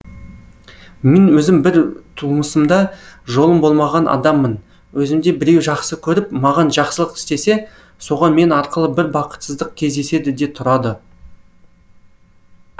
мен өзім бір тумысымда жолым болмаған адаммын өзімді біреу жақсы көріп маған жақсылық істесе соған мен арқылы бір бақытсыздық кездеседі де тұрады